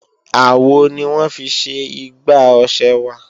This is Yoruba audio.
Àwo ni wọ́n fi ṣe igbá ọ̀ṣẹ wa